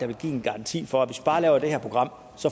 vil give en garanti for at hvis vi bare laver det her program